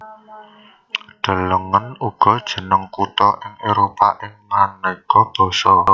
Delengen uga Jeneng kutha ing Éropah ing manéka basa